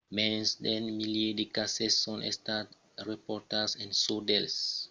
mens d'un milièr de cases son estats raportats en çò dels umans mas d’unes son estats mortals